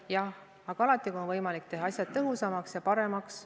Jah, aga alati on võimalik teha asjad tõhusamaks ja paremaks.